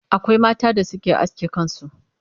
akwai mata da Suke aske kansu